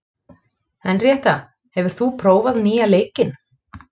Henríetta, hefur þú prófað nýja leikinn?